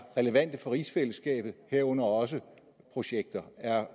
relevante for rigsfællesskabet herunder også projekter er